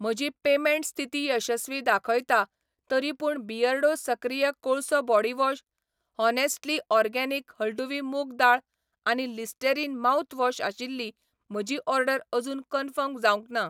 म्हजी पेमेंट स्थिती यशस्वी दाखयता, तरीपूण बियर्डो सक्रिय कोळसो बॉडीवॉश, हॉनेस्टली ऑर्गेनिक हळडुवी मूग दाळ आनी लिस्टेरीन माउथवॉश आशिल्ली म्हजी ऑर्डर अजून कन्फर्म जावंक ना